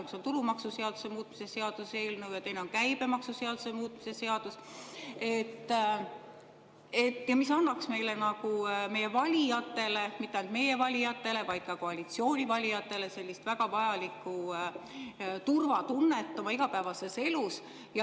Üks on tulumaksuseaduse muutmise seaduse eelnõu ja teine on käibemaksuseaduse muutmise seaduse, mis annaksid meie valijatele – mitte ainult meie valijatele, vaid ka koalitsiooni valijatele – väga vajalikku turvatunnet igapäevases elus.